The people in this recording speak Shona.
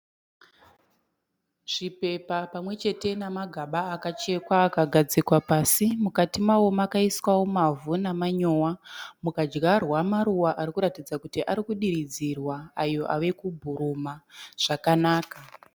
Chipepa pamwechete nemagaba akachekwa akagadzikwa pasi, mukati mawo makaiswawo mavhu namanyowa, mukadyarwa maruva arikuratidza kuti arikudiridzwa ayo ave kubhuruma zvakanaka.